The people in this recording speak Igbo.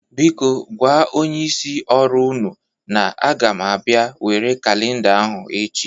Biko gwa onyeisi ọrụ ụnụ na aga m abịa nwere kalinda ahụ echi.